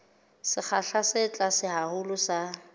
sekgahla se tlase haholo sa